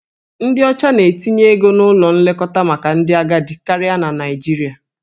Ndị ọcha na-etinye ego n'ụlọ nlekọta maka ndị agadi karịa na Naịjirịa.